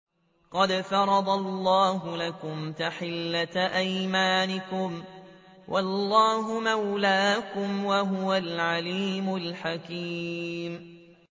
قَدْ فَرَضَ اللَّهُ لَكُمْ تَحِلَّةَ أَيْمَانِكُمْ ۚ وَاللَّهُ مَوْلَاكُمْ ۖ وَهُوَ الْعَلِيمُ الْحَكِيمُ